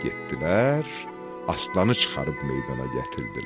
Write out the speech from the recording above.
Getdilər, aslanı çıxarıb meydana gətirdilər.